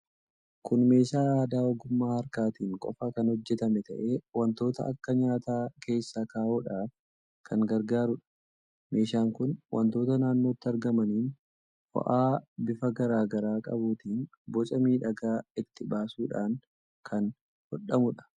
Kun meeshaa aadaa ogummaa harkaatiin qofa kan hojjetame ta'ee, wantoota akka nyaataa keessa kaa'uudhaaf kan gargaaruudha. Meeshaan kun wantoota naannootti argamaniin, fo'aa bifa garaa garaa qabuutiin boca miidhagaa itti baasuudhaan kan hodhamuudha.